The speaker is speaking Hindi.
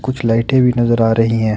कुछ लाइटें भी नजर आ रही है।